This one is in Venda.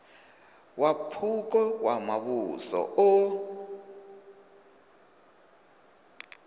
wa phukha wa muvhuso o